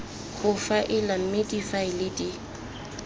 go faela mme difaele di